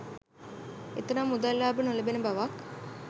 එතරම් මුදල් ලාභ නොලැබෙන බවක්